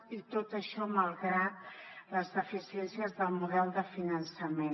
i tot això malgrat les deficiències del model de finançament